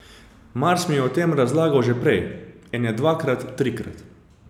Mars mi je o tem razlagal že prej, ene dvakrat, trikrat.